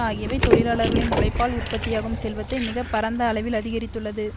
ஆகியவை தொழிலாளர்களின் உழைப்பால் உற்பத்தியாகும் செல்வத்தை மிக பரந்த அளவில் அதிகரித்துள்ளது